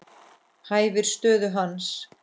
Hæfir stöðu hans.